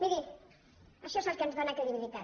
miri això és el que ens dóna credibilitat